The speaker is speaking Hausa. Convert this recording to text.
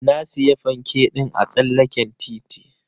Na siya fanke ɗin a tsallaken titi.